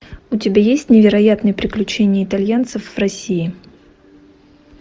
у тебя есть невероятные приключения итальянцев в россии